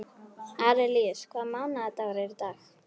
Arilíus, hvaða mánaðardagur er í dag?